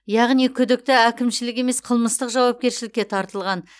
яғни күдікті әкімшілік емес қылмыстық жауапкершілікке тартылған